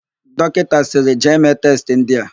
Dọkịta sịrị, "jee mee testị ndị a"!